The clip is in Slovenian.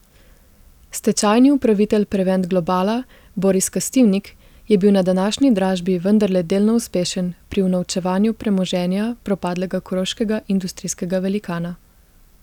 Stečajni upravitelj Prevent Globala Boris Kastivnik je bil na današnji dražbi vendarle delno uspešen pri unovčevanju premoženja propadlega koroškega industrijskega velikana.